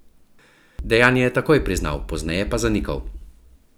Dejanje je takoj priznal, pozneje pa zanikal.